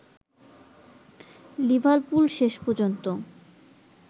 Liverpool শেষ পর্যন্ত